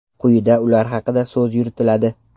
Quyida ular haqida so‘z yuritiladi.